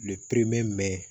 mɛn